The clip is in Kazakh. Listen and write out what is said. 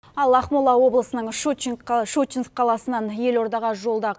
ал ақмола облысының шучинск қаласынан елордаға жолда